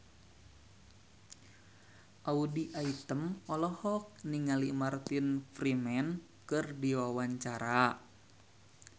Audy Item olohok ningali Martin Freeman keur diwawancara